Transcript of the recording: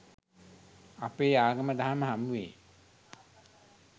අපේ ආගම දහම හමුවේ